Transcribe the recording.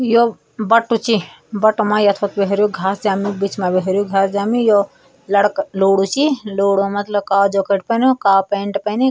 यौ बट्टू चि बट्टो मा यथो कुइ हैरयूं घास जम्युं बिच मा बि हैरयूं घास जमि यो लडका लोडू चि लोडू मतलब कालू जैकेट पैन्यूं कालु पेैंट पैनि।